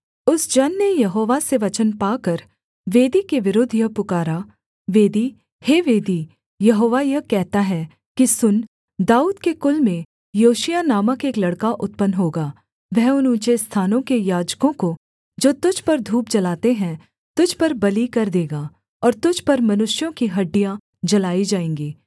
उस जन ने यहोवा से वचन पाकर वेदी के विरुद्ध यह पुकारा वेदी हे वेदी यहोवा यह कहता है कि सुन दाऊद के कुल में योशिय्याह नामक एक लड़का उत्पन्न होगा वह उन ऊँचे स्थानों के याजकों को जो तुझ पर धूप जलाते हैं तुझ पर बलि कर देगा और तुझ पर मनुष्यों की हड्डियाँ जलाई जाएँगी